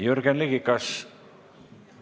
Jürgen Ligi, kas ...